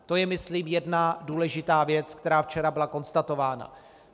To je myslím jedna důležitá věc, která včera byla konstatována.